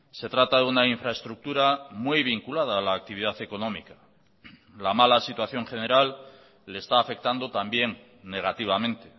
se trata de una infraestructura muy vinculada a la actividad económica la mala situación general le está afectando también negativamente